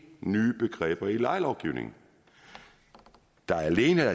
nye begreber i lejelovgivningen der er alene